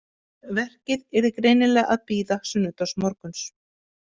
Verkið yrði greinilega að bíða sunnudagsmorguns.